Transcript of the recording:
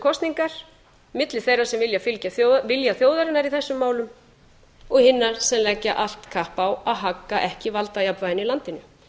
kosningar milli þeirra sem vilja fylgja vilja þjóðarinnar í þessum málum og hinna sem leggja allt kapp á að hagga ekki valdajafnvæginu í landinu